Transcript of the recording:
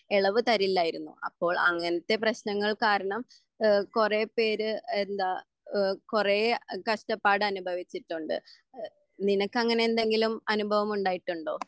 എളവ് തരില്ലായിരുന്നു അപ്പോൾ അങ്ങനത്തെ പ്രേശ്നങ്ങൾ കാരണം ഏഹ് കൊറേ പേര് എന്താ എഹ് കൊറേ കഷ്ട്ടപ്പാട് അനുഭവിച്ചിട്ടുണ്ട്.എഹ് നിനക്ക് അങ്ങനെ എന്തെങ്കിലും അനുഭവമുണ്ടായിട്ടുണ്ടോ?